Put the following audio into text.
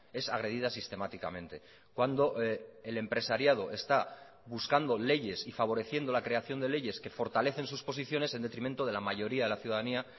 es agredida sistemáticamente cuando el empresariado está buscando leyes y favoreciendo la creación de leyes que fortalecen sus posiciones en detrimento de la mayoría de la ciudadanía